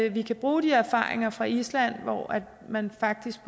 at vi kan bruge de erfaringer fra island hvor man faktisk